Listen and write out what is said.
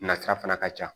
Nasira fana ka ca